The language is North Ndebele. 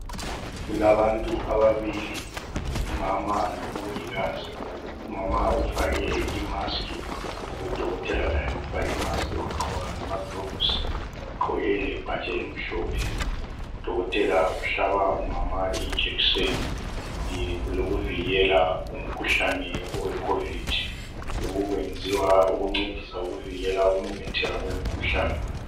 Kulabantu ababili umama lomongikazi. Umama ufake imask lodokotela laye ufake imask wagqoka lamagilovusi, ugqoke lebhatshi elimhlophe. Udokotela umhlaba umama ijekiseni eyokuvikela umkhuhlane weCovid. Lokhu kwenziwa ukuncedisa ukuvikela ukumemetheka kwemikhuhlane.